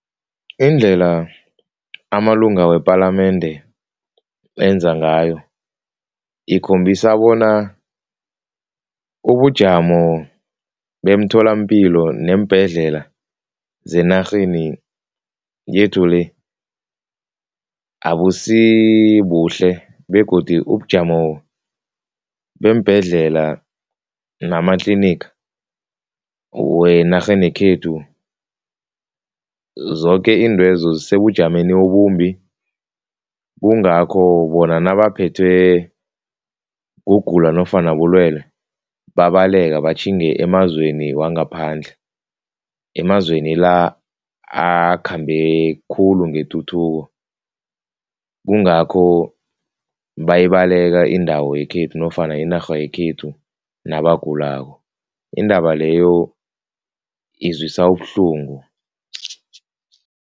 Indlela amalunga wepalamende enza ngayo ikhombisa bona ubujamo bemtholapilo neembhedlela zenarheni yethu le abusibuhle begodi ubujamo beembhedlela nama-clinic wenarheni yekhethu zoke iintwezo zisebujameni obumbi kungakho bona nabaphethwe kugula nofana bulwelwe babaleka batjhinge emazweni wangaphandle, emazweni la akhambe khulu ngetuthuko, kungakho bayibaleka indawo yekhethu nofana inarha yekhethu nabagulako. Indaba leyo izwisa ubuhlungu.